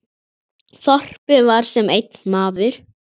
Þorpið var sem einn maður.